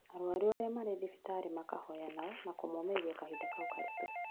Arwaru arĩa marĩ thibitarĩ makahoya nao na kũmomĩrĩria kahinda kau karitũ